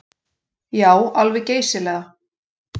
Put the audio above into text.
Já, alveg geysilega.